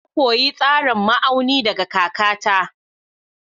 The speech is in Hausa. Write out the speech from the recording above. Na koyi tsarin ma'auni daga kakata.